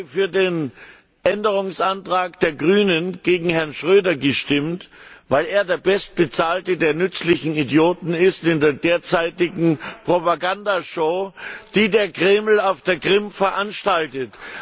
Ich habe für den Änderungsantrag der Grünen gegen Herrn Schröder gestimmt, weil er der bestbezahlte der nützlichen Idioten ist in der derzeitigen Propaganda Show, die der Kreml auf der Krim veranstaltet.